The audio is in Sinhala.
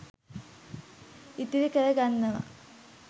ඉතිරි කර ගන්නවා.